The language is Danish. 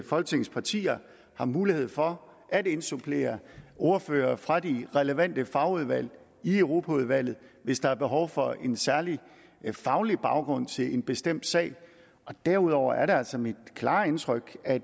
folketingets partier har mulighed for at indsupplere ordførere fra de relevante fagudvalg i europaudvalget hvis der er behov for en særlig faglig baggrund til en bestemt sag derudover er det altså mit klare indtryk at